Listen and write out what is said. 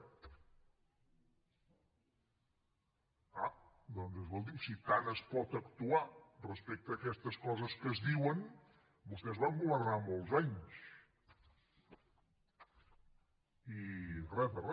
ah doncs escolti’m si tant es pot actuar respecte a aquestes coses que es diuen vostès van governar molts anys i re de re